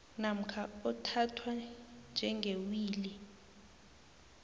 namkha othathwa njengewili